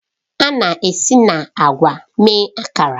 A na-esi na agwa mee Akara